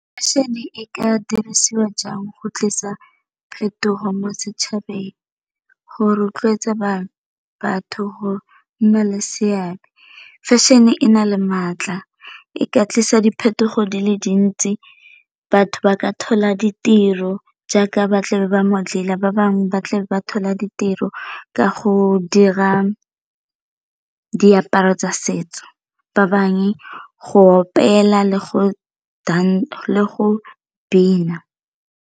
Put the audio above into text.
Fashion e ka dirisiwa jang go tlisa phetogo mo setšhabeng go rotloetsa batho go nna le seabe? Fashion e na le maatla e ka tlisa diphetogo di le dintsi batho ba ka thola ditiro jaaka ba tle ba ba bangwe ba tle ba thola ditiro ka go dira diaparo tsa setso, ba bangwe go opela le go bina.